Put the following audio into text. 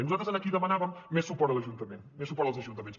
i nosaltres en aquí demanàvem més suport a l’ajuntament més suport als ajuntaments